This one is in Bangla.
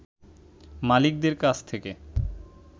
মালিকদের কাছ থেকে